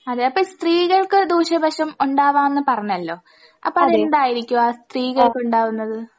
അതെ അപ്പ സ്ത്രീകൾക്ക് ദൂഷ്യവശം ഒണ്ടാവാംന്ന് പറഞ്ഞല്ലോ അപ്പ അതെന്തായിരിക്കുവാ സ്ത്രീകൾക്കുണ്ടാവുന്നത്?